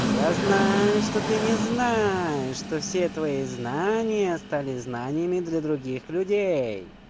я знаю что ты не знаешь что все твои знания стали знаниями для других людей